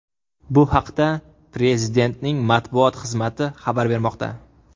Bu haqda Prezidentning matbuot xizmati xabar bermoqda .